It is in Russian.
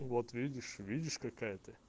вот видишь видишь какая ты